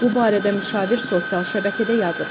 Bu barədə müşavir sosial şəbəkədə yazıb.